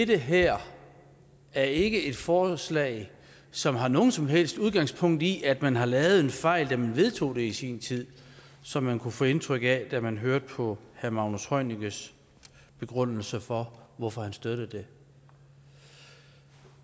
det her er ikke et forslag som har noget som helst udgangspunkt i at man har lavet en fejl da man vedtog det i sin tid som man kunne få indtryk af da man hørte på herre magnus heunickes begrundelse for hvorfor han støtter det